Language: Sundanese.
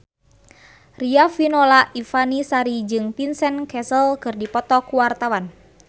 Riafinola Ifani Sari jeung Vincent Cassel keur dipoto ku wartawan